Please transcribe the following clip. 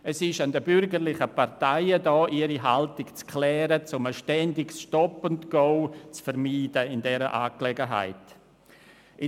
Es ist an den bürgerlichen Parteien, ihre Haltung in dieser Sache zu klären, um ein ständiges Stop-and-go in dieser Angelegenheit zu vermieden.